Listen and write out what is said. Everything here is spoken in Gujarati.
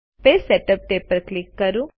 પેજ સેટઅપ ટેબ પર ક્લિક કરો